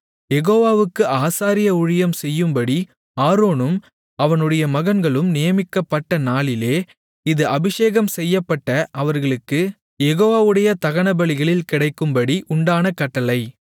யெகோவாவுக்கு ஆசாரிய ஊழியம் செய்யும்படி ஆரோனும் அவனுடைய மகன்களும் நியமிக்கப்பட்ட நாளிலே இது அபிஷேகம் செய்யப்பட்ட அவர்களுக்குக் யெகோவாவுடைய தகனபலிகளில் கிடைக்கும்படி உண்டான கட்டளை